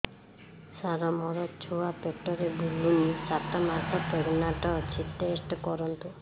ସାର ମୋର ଛୁଆ ପେଟରେ ବୁଲୁନି ସାତ ମାସ ପ୍ରେଗନାଂଟ ଅଛି ଟେଷ୍ଟ କରନ୍ତୁ